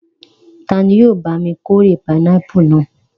Ta ni yóò bá mi kórè pinápù náà?